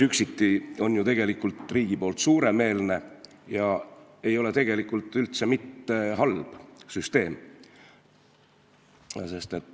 Üksiti oleks see tegelikult riigi poolt suuremeelne ega oleks üldse mitte halb.